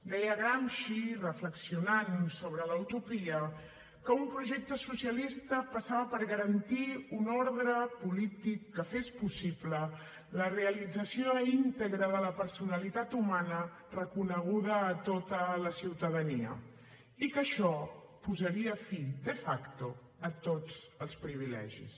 deia gramsci reflexionant sobre la utopia que un projecte socialista passava per garantir un ordre polític que fes possible la realització íntegra de la personalitat humana reconeguda a tota la ciutadania i que això posaria fi de facto a tots els privilegis